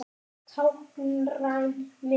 Táknræn mynd.